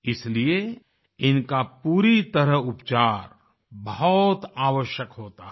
इसलिए इनका पूरी तरह उपचार बहुत आवश्यक होता है